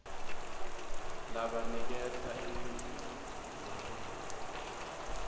labaniketa imphilo kumalunga